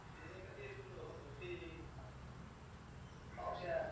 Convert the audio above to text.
ते नाही का ते तुमच्या सोबत होतं ते. भावश्या.